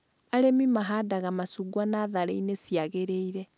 Arĩmi mahandaga macungwa natharĩ-inĩ ciagrĩire